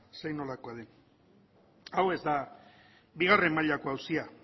zein nolakoa den hau ez da bigarren mailako auzia